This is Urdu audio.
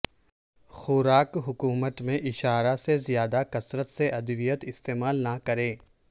خوراک حکومت میں اشارہ سے زیادہ کثرت سے ادویات استعمال نہ کریں